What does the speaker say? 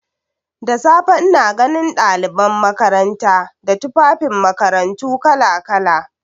Da safe ina ganin ɗaliban makaranta da tufafin makarantu kala-kala.